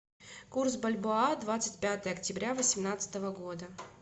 курс бальбоа двадцать пятое октября восемнадцатого года